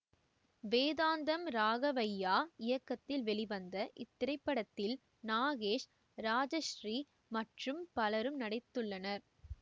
வேதாந்தம் ராகவைய்யா இயக்கத்தில் வெளிவந்த இத்திரைப்படத்தில் நாகேஷ் ராஜஸ்ரீ மற்றும் பலரும் நடித்துள்ளனர்